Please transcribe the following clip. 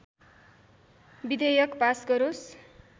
विधेयक पास गरोस्